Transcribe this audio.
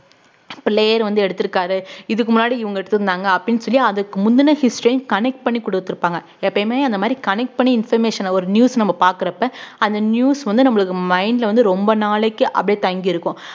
இப்ப layer வந்து எடுத்துருக்காரு இதுக்கு முன்னாடி இவங்க எடுத்துருந்தாங்க அப்படின்னு சொல்லி அதுக்கு முந்துன ஐயும் connect பண்ணி கொடுத்திருப்பாங்க எப்பயுமே அந்த மாதிரி connect பண்ணி information அ ஒரு news நம்ம பார்க்கறப்ப அந்த news வந்து நம்மளுக்கு mind ல வந்து ரொம்ப நாளைக்கு அப்படியே தங்கியிருக்கும்